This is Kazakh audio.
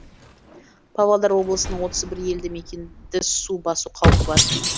павлодар облысын отыз елді мекенді су басу қаупі бар